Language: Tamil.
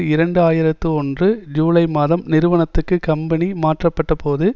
இரண்டு ஆயிரத்தி ஒன்று ஜூலை மாதம் நிறுவனத்திற்கு கம்பெனி மாற்றப்பட்ட போது